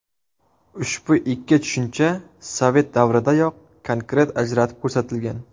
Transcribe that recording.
Ushbu ikki tushuncha sovet davridayoq konkret ajratib ko‘rsatilgan.